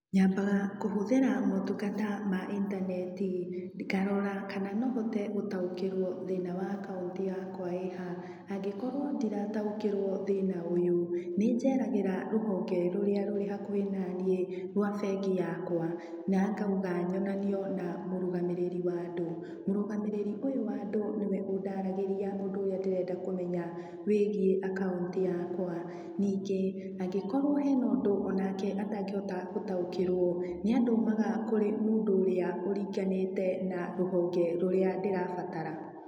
Nyambaga kũhũthĩra maũtungatama intaneti, ngarora kana no hote gũtaũkĩrwo thĩna wa akaunti yakwa ĩ ha. Angĩkorwo ndirataũkĩrwo thĩna ũyũ, nĩ njeragĩra rũhonge rũrĩa rũri hakuhĩ naniĩ rwa bengi yakwa, na ngauga nyonanio na mũrũgamĩrĩri wa andũ. Mũrũgamĩrĩri ũyũ wa aũndũ, nĩ we ũndaragĩria ũndũ ũrĩa nderenda kũmenya wĩgiĩ akaũnti yakwa. Ningĩ, angĩkorwo hena ũndũ o nake atangĩhota gũtaũkĩrwo, nĩ andũmaga kũrĩ mũndũ ũrĩa ũringanĩte na rũhonge rũrĩa ndĩrabatara.